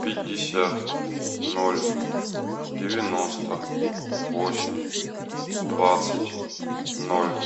пятьдесят ноль девяносто восемь двадцать ноль